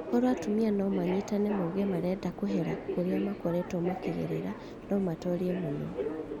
"Korwo atumia no manyitane mauge marenda kũhukia kũhera kũrĩa makoretwo makĩgerera no matorie mũno.